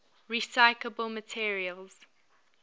recyclable materials